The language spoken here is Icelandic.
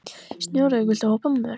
Snjólaug, viltu hoppa með mér?